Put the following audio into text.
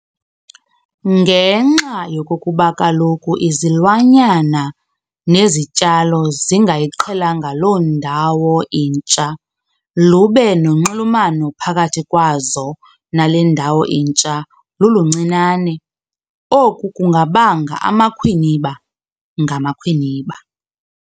Ngenxa yokokuba kaloku izilwanyana nezityalo zingayiqhelanga loo ndawo intsha lube nonxulumano phakathi kwazo nale ndawo intsha luluncinane, oku kungabanga amakhwiniba ngamakhwiniba.